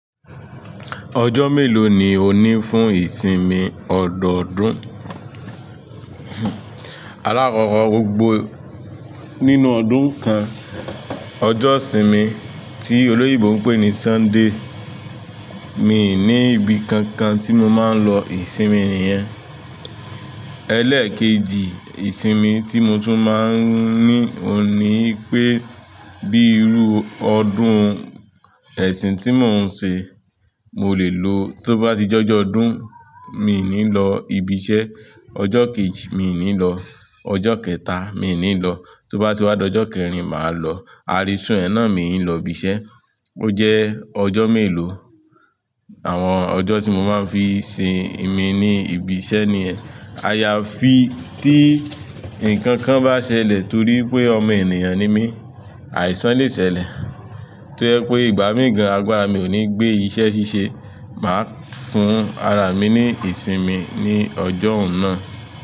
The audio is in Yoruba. Ọjọ́ mélòó ni òní fún ìsinmi ọ̀dọ̀ọdún? Alákọ̀ọ́kọ́ gbogbo nínú ọdún kan, ọjọ́ ìsinmi tí oloyinbo ń pè ní Sunday. Mi ní ibi kankan tí mo máa ń lọ ìsinmi nìyẹn. Ẹ̀lẹkejì ìsinmi tí mo tún máa ń ní, òun ní i pé bí irú ọdún ẹ̀sìn tí mò ń se, mo lè lo tó bá ti jọ́jọ ọdún, mi i ní lọ ibi iṣẹ́. Ọjọ́ kejì, mi i ní lọ. Ọjọ́ kẹta, mi ò ní lọ. Tó bá ti wá dọ́jọ́ kẹrin, màá lọ. Ààrísún ẹẹ́ná mi n lọ ibi iṣẹ́. Ó jẹ́ ọjọ́ mélòó. Àwọn ọjọ́ tí mo máa ń fi sin imi ní ibi iṣẹ́ nìyẹn. Àyàfi tí ǹkan kan bá ṣẹlẹ̀ torí ípé ọmọ ènìyàn ni mí, àìsàn lè ṣẹlẹ̀. Tó jẹ́ pé ìgbà míì gan, àgbàrá mi ò ní gbé iṣẹ́ ṣíṣe, màá fún ara mi ní ìsinmi ní ọjọ́ n náà.